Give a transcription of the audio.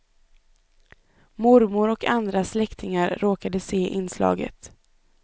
Mormor och andra släktingar råkade se inslaget.